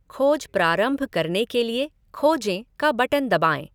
खोज प्रारंभ करने के लिए खोजें का बटन दबाएँ।